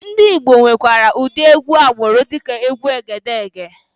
Ndị Igbo nwekwara ụdị egwú agbụrụ dịka egwu Egedegè.